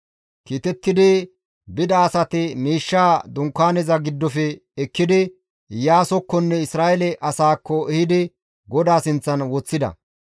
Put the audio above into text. Kiitetti bida asati miishshaa dunkaaneza giddofe ekkidi, Iyaasokkonne Isra7eele asaakko ehidi GODAA sinththan woththida.